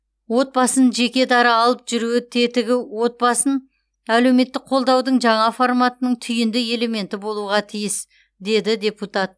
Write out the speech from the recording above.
отбасын жекедара алып жүруі тетігі отбасын әлеуметтік қолдаудың жаңа форматының түйінді элементі болуға тиіс деді депутат